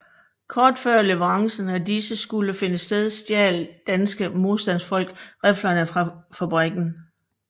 Kort før leverancen af disse skulle finde sted stjal danske modstandfolk riflerne fra fabrikken